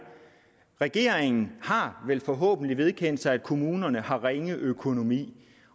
regeringen har vel forhåbentlig vedkendt sig at kommunerne har ringe økonomi